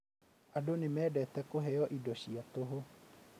Andũ nĩ mendete kũheo indo cia tũhũ